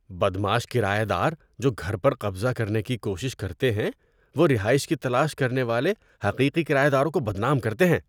بدمعاش کرایہ دار جو گھر پر قبضہ کرنے کی کوشش کرتے ہیں وہ رہائش کی تلاش کرنے والے حقیقی کرایہ داروں کو بدنام کرتے ہیں۔